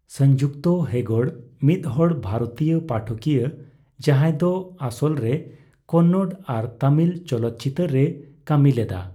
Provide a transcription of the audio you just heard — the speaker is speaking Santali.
ᱥᱚᱝᱡᱩᱠᱛᱟ ᱦᱮᱜᱚᱲ ᱢᱤᱫᱦᱚᱲ ᱵᱷᱟᱨᱚᱛᱤᱭᱟᱹ ᱯᱟᱴᱷᱚᱠᱤᱭᱟᱹ ᱡᱟᱦᱟᱸᱭ ᱫᱚ ᱟᱥᱚᱞᱨᱮ ᱠᱚᱱᱱᱚᱲ ᱟᱨ ᱛᱟᱹᱢᱤᱞ ᱪᱚᱞᱚᱠᱪᱤᱛᱟᱹᱨᱮᱭ ᱠᱟᱹᱢᱤ ᱞᱮᱫᱟ ᱾